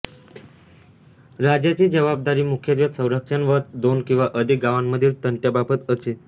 राजाची जबाबदारी मुखत्वे संरक्षण व दोन किंवा अधिक गांवामधील तंट्याबाबत असे